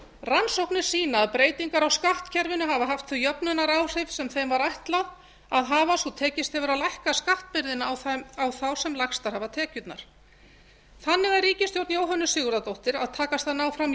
rannsóknir sýna að breytingar á skattkerfinu hafa haft þau jöfnunaráhrif sem þeim var ætlað að hafa svo tekist hefur að lækka skattbyrðina á þá sem lægstar hafa tekjurnar þannig er ríkisstjórn jóhönnu sigurðardóttur að takast að ná fram